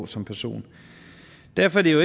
som person derfor er det jo